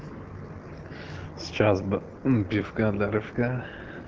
сейчас бы пивка для рывка